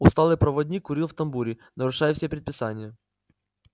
усталый проводник курил в тамбуре нарушая все предписания